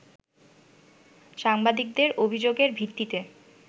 সাংবাদিকদের অভিযোগের ভিত্তিতে